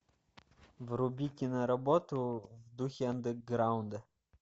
вруби киноработу в духе андеграунда